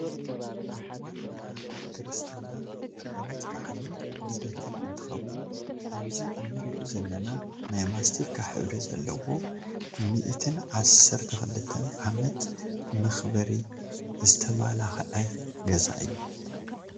ኣብ እዋን መርዓ፣ ክርስትና፣ ዓመት በዓልን ልደትን እንትከውን ኣብዚ እንሪኦ ዘለና ናይ ማስቲካ ሕብሪ ዘለዎ ሚኢትን ዓሰርተ ክልተን ዓመት መክበሪ ዝተማላከዐ ገዛ እዩ።